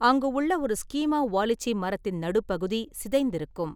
அங்கு உள்ள ஒரு ஸ்கீமா வாலிச்சி மரத்தின் நடுப்பகுதி சிதைந்திருக்கும்.